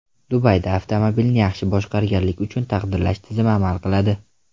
Dubayda avtomobilni yaxshi boshqarganlik uchun taqdirlash tizimi amal qiladi.